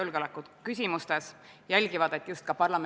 Nüüd, austatud kolleegid, on teil võimalus üle anda eelnõusid ja arupärimisi.